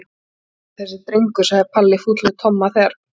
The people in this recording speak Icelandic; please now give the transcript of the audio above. Hann er ekki í lagi þessi drengur sagði Palli fúll við Tomma þegar